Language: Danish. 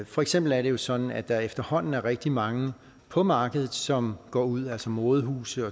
for eksempel er det sådan at der efterhånden er rigtig mange på markedet som går ud altså modehuse